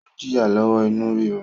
O n jìya lọwọ inú rírú